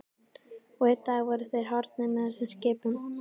Og einn dag voru þeir horfnir með þessum skipum.